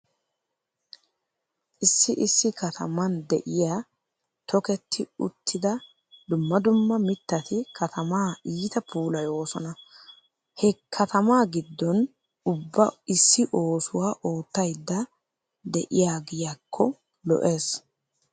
Issi issi kataman diya toketti uttifa dumma dumma mittati katamaa iita puulayoosona. He katamaa giddon ubba issi oosuwa oottaydda de'aaggiyakko lo'ees.